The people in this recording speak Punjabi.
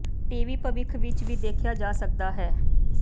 ਟੀ ਵੀ ਭਵਿੱਖ ਵਿਚ ਹੀ ਦੇਖਿਆ ਜਾ ਸਕਦਾ ਹੈ